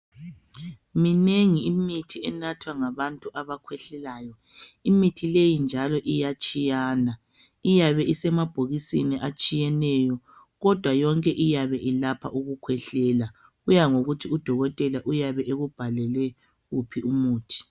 Minengi imithi enathwa ngabantu abakhwehlelayo imithi leyi njalo iyatshiyana iyabe isemabhokisini atshiyeneyo kodwa yonke iyabe ilapha ukukhwehlela, kuyangokuthi udokotela uyabe ekubhalele uphi umuthi.